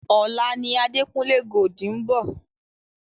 Ọ̀la ni Adekunle Gold ń bọ̀.